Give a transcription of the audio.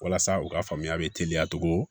Walasa u ka faamuya be teliya togo